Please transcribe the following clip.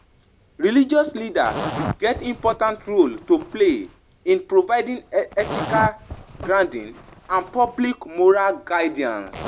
Religious leaders go provide spiritual mentorship wey go base on love and understanding rather than fear and judgment.